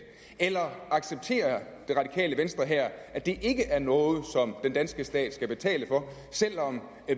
eller accepterer det radikale venstre her at det ikke er noget som den danske stat skal betale for selv om